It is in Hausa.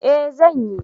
Eh zan yi.